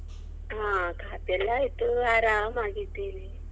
ಆ ಕಾಫಿಯೆಲ್ಲ ಆಯ್ತು ಆರಾಮಾಗಿದ್ದೇನೆ.